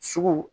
Sugu